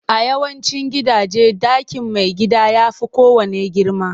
A yawancin gidaje, ɗakin maigida ya fi kowanne girma